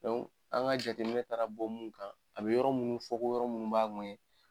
Dɔnku an ka jateminɛ taara bɔ mun kan a be yɔrɔ munnu fɔ k'o yɔrɔ munnu b'a ŋɛɲɛ